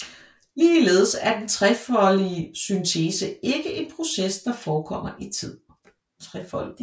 Ligeledes er den trefoldige syntese ikke en proces der forekommer i tid